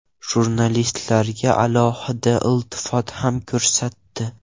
Jurnalistlarga alohida iltifot ham ko‘rsatdi.